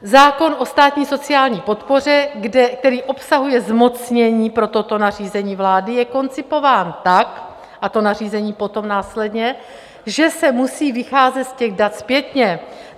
Zákon o státní sociální podpoře, který obsahuje zmocnění pro toto nařízení vlády, je koncipován tak - a to nařízení potom následně - že se musí vycházet z těch dat zpětně.